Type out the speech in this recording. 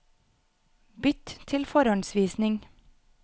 Bytt til forhåndsvisning